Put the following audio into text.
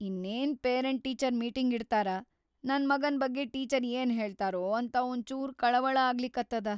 ಇನ್ನೇನ್‌ parent teacher meeting ಇಡ್ತಾರ, ನನ್‌ ಮಗನ್‌ ಬಗ್ಗೆ ಟೀಚರ್‌ ಏನ್‌ ಹೇಳ್ತಾರೊ ಅಂತ ಒಂಚೂರ್ ಕಳವಳ ಆಗ್ಲಿಕತ್ತದ.